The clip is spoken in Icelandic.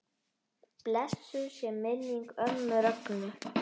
Blessuð sé minning ömmu Rögnu.